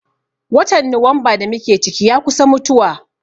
Watan Nuwamba da mu ke ciki, ya kusa mutuwa.